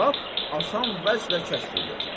Lap asan vəclə kəşf eləyəcəm.